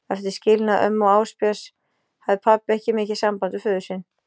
Eftir skilnað ömmu og Ásbjörns hafði pabbi ekki mikið samband við föður sinn.